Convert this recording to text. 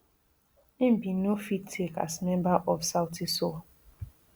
im bin no fit take as member of sauti sol